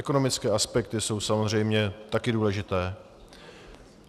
Ekonomické aspekty jsou samozřejmě také důležité.